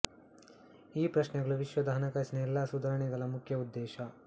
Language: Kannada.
ಈ ಪ್ರಶ್ನೆಗಳು ವಿಶ್ವದ ಹಣಕಾಸಿನ ಎಲ್ಲಾ ಸುಧಾರಣೆಗಳ ಮುಖ್ಯ ಉದ್ದೇಶ